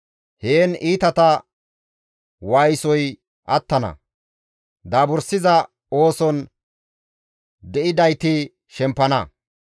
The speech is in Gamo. Heen iitata waayisoy attana; daabursiza ooson de7idayti shempana.